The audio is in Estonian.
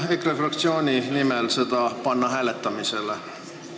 Palun EKRE fraktsiooni nimel panna see ettepanek hääletusele!